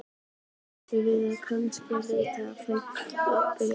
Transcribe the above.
Þá æfðum við kannski leikrit eða útbjuggum spurningaleik.